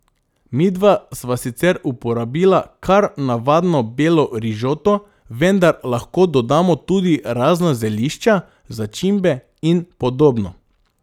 Midva sva sicer uporabila kar navadno belo rižoto, vendar lahko dodamo tudi razna zelišča, začimbe in podobno.